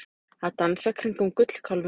Að dansa kringum gullkálfinn